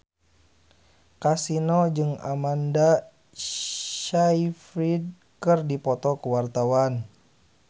Kasino jeung Amanda Sayfried keur dipoto ku wartawan